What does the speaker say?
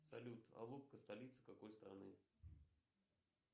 салют алупка столица какой страны